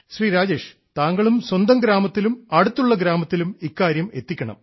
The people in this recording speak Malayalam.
ശ്രീ രാജേഷ് താങ്കളും സ്വന്തം ഗ്രാമത്തിലും അടുത്തുള്ള ഗ്രാമത്തിലും ഇക്കാര്യമെത്തിക്കണം